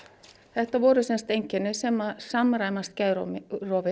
þetta voru sem sagt einkenni sem samræmast geðrofi